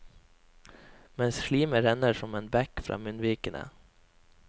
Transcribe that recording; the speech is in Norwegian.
Mens slimet renner som en bekk fra munnvikene.